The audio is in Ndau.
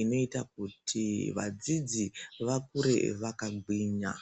inoita kuti vadzidzi vakure vakagwinya.